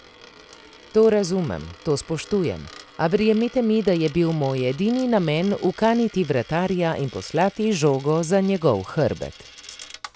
To razumem, to spoštujem, a verjemite mi, da je bil moj edini namen ukaniti vratarja in poslati žogo za njegov hrbet.